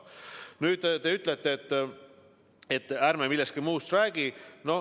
Nüüd, te ütlete, et ärme millestki muust räägi.